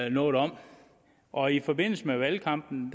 ikke noget om og i forbindelse med valgkampen